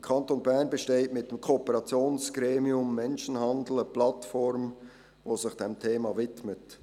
Im Kanton Bern besteht mit dem KOGE eine Plattform, welche sich diesem Thema widmet.